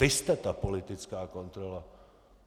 Vy jste ta politická kontrola.